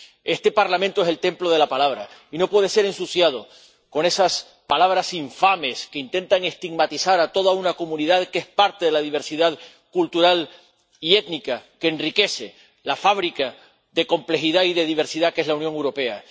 Este Parlamento es el templo de la palabra y no puede ser ensuciado con esas palabras infames que intentan estigmatizar a toda una comunidad que es parte de la diversidad cultural y étnica que enriquece la fábrica de complejidad y de diversidad que es la Unión Europea.